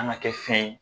An ka kɛ fɛn ye